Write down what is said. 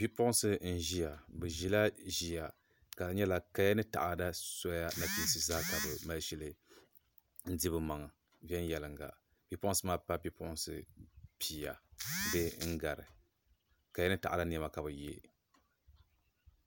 Bipuɣunsi nʒiya ka di nyɛla bi ʒila ʒila ka di nyɛla kaya ni taada soya nachiinsi zaa ka bi mali shili n di bi maŋ viɛnyɛlinga bipuɣunsi maa paai bipuɣunsi pia bee n gari kaya ni taada niɛma ka bi yɛ